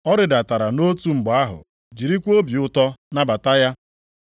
Ọ rịdatara nʼotu mgbe ahụ jirikwa obi ụtọ nabata ya.